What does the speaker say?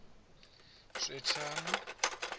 swethani